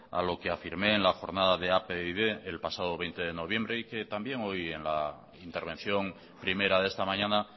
a lo que afirmé en la jornada de apd el pasado veinte de noviembre y que también hoy en la intervención primera de esta mañana